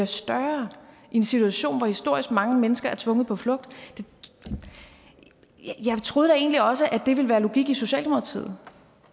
større i en situation hvor historisk mange mennesker er tvunget på flugt jeg troede da egentlig også at det ville være logik i socialdemokratiet